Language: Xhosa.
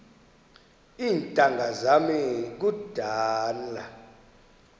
iintanga zam kudala